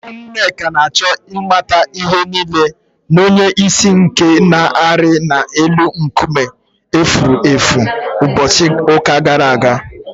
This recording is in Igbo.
Ewu Nneka na-achọ ịmata ihe nile na onye isi ike nke na-arị na elu nkume efuru efu ụbọchị ụka gara aga